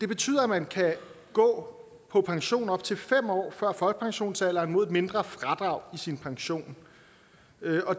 betyder at man kan gå på pension op til fem år før folkepensionsalderen mod et mindre fradrag i sin pension